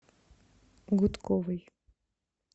гудковой